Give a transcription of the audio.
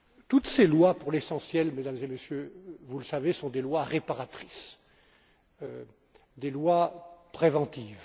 toutes ces lois, pour l'essentiel, Mesdames et Messieurs vous le savez sont des lois réparatrices, des lois préventives.